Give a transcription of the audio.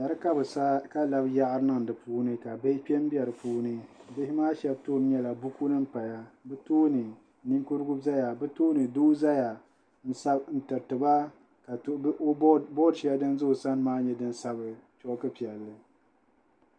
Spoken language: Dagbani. Dari ka bɛ sa ka labi yaɣiri niŋ di puuni ka bihi kpe m-be di puuni bihi shɛbi tooni nyɛla buku din paya bɛ tooni ninkurugu zaya bɛ tooni doo zaya n-tiriti ba ka bodi shɛli din za o sani maa nyɛ bodi piɛlli